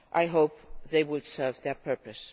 I hope they will serve their purpose.